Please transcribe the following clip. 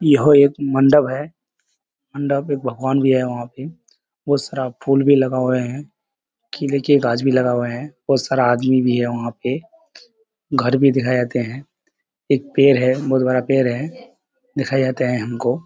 यह एक मंडप है | मंडप में भगवान भी है वहाँ पे बहुत सारा फूल भी लगे हुए हैं केले के गाछ भी लगा हुआ हैं बहुत सारा आदमी भी है वहाँ पे घर भी दिखाई देते हैं एक पेड़ है बहुत बड़ा पेड़ है दिखाई जाते हैं हमको |